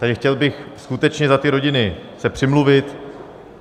Tedy chtěl bych skutečně za ty rodiny se přimluvit.